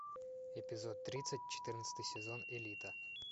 эпизод тридцать четырнадцатый сезон элита